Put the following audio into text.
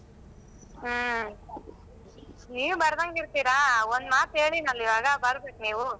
ಹ್ಮ್, ನೀವ್ ಬರ್ದಂಗ್ ಇರ್ತೀರಾ ಒಂದ್ ಮಾತ್ ಹೇಳಿನಲ್ಲ ಈವಾಗ ಬರ್ಬೇಕ್ ನೀವು.